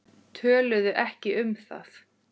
Töluðu ekki um það.